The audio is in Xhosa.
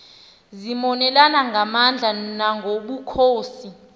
zazimonelana ngamandla nangobukhosi